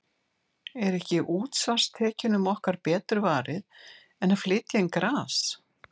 Er ekki útsvarstekjunum okkar betur varið en að flytja inn gras?